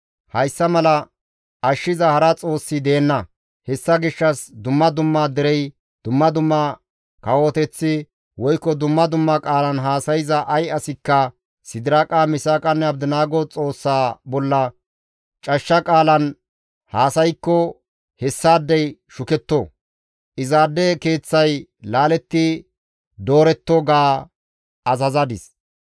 «Hayssa mala ashshiza hara Xoossi deenna; hessa gishshas dumma dumma derey, dumma dumma kawoteththi woykko dumma dumma qaalan haasayza ay asikka Sidiraaqa, Misaaqanne Abdinaago Xoossa bolla cashsha qaalan haasaykko hessaadey shuketto; izaade keeththay laaletti dooretto» ga azazadis.